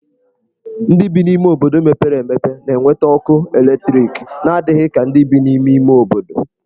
Ndị bi n'obodo mepere emepe na-enweta ọkụ eletriki n'adịghị ka ndị bi n'ime ime obodo.